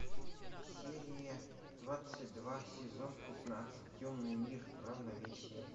серия двадцать два сезон пятнадцать темный мир равновесие